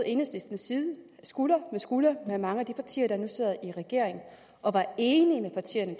skulder ved skulder med mange af de partier der nu sidder i regering og var enig med partierne